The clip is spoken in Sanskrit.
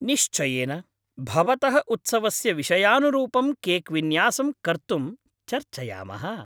निश्चयेन, भवतः उत्सवस्य विषयानुरूपं केक्विन्यासं कर्तुं चर्चयामः।